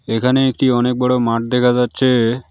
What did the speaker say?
এখানে একটি অনেক বড় মাঠ দেখা যাচ্ছে।